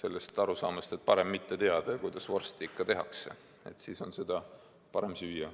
sellest arusaamast, et parem mitte teada, kuidas vorsti tehakse – siis on seda parem süüa.